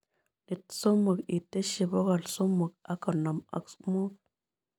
Iit somok iteshi bogolmsomok ak gonom ak mut